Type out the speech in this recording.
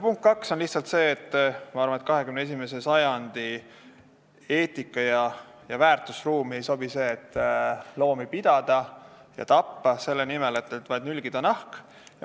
Punkt kaks on see, et minu arvates 21. sajandi eetika- ja väärtusruumi ei sobi, kui loomi peetakse ja tapetakse vaid selle nimel, et nülgida neilt nahk.